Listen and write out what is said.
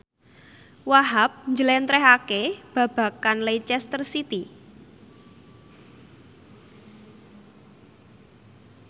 Wahhab njlentrehake babagan Leicester City